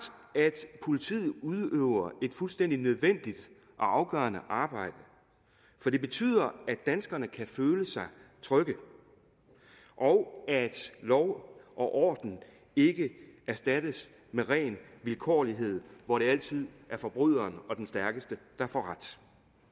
at politiet udøver et fuldstændig nødvendigt og afgørende arbejde for det betyder at danskerne kan føle sig trygge og at lov og orden ikke erstattes med ren vilkårlighed hvor det altid er forbryderen og den stærkeste der får ret